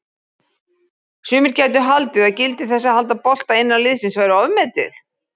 Sumir gætu haldið að gildi þess að halda bolta innan liðsins væri ofmetið?